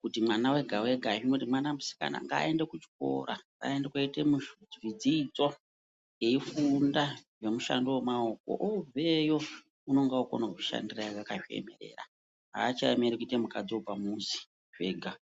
kuti mwana wega wega mwana musikana ngaende kuchikora ngaende koite dzidzo eifunda ngemushando wemaoko obveyo unonga okone kuzvishandira akazviemera achamiriri kuite mukadzi wepamuzi zvega.